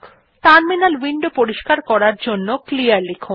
terminal window পরিষ্কার করার জন্য ক্লিয়ার লিখুন